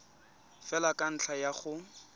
fela ka ntlha ya go